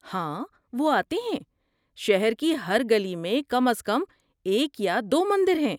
ہاں وہ آتے ہیں. شہر کی ہر گلی میں کم از کم ایک یا دو مندر ہیں۔